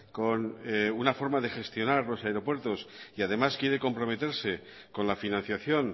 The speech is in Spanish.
con una forma de gestionar los aeropuertos y además quiere comprometerse con la financiación